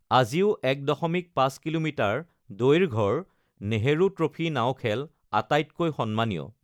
আজিও ১.৫ কিলোমিটাৰ দৈৰ্ঘ্যৰ নেহৰু ট্ৰফী নাও খেল আটাইতকৈ সন্মানীয়।